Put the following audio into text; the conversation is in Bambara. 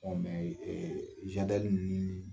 mɛ ninnu ni